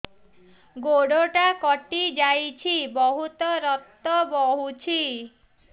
ଗୋଡ଼ଟା କଟି ଯାଇଛି ବହୁତ ରକ୍ତ ବହୁଛି